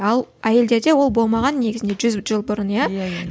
ал әйелдерде ол болмаған негізінде жүз жыл бұрын иә иә